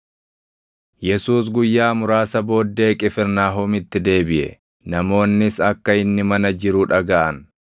Yesuus guyyaa muraasa booddee Qifirnaahomitti deebiʼe; namoonnis akka inni mana jiru dhagaʼan.